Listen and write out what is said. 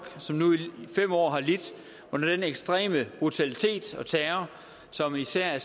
som nu i fem år har lidt under denne ekstreme brutalitet og terror som især